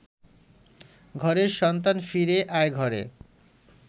ঘরের সন্তান ফিরে আয় ঘরে